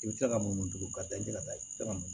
I bɛ se ka munu tugun ka da i ka taa i bɛ se ka mun